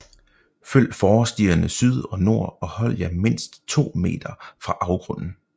Følg fårestierne syd og nord og hold jer mindst 2 m fra afgrunden